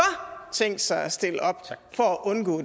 tænkt sig at stille op for at undgå